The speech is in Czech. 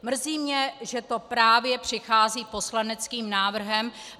Mrzí mě, že to právě přichází poslaneckým návrhem.